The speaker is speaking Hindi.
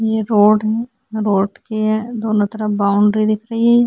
ये रोड है रोड के दोनों तरफ बाऊंडरी दिख रही हैं।